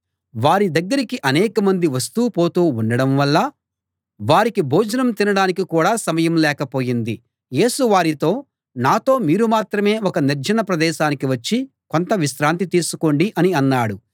వారి దగ్గరికి అనేకమంది వస్తూ పోతూ ఉండడం వల్ల వారికి భోజనం తినడానికి కూడా సమయం లేకపోయింది యేసు వారితో నాతో మీరు మాత్రమే ఒక నిర్జన ప్రదేశానికి వచ్చి కొంత విశ్రాంతి తీసుకోండి అని అన్నాడు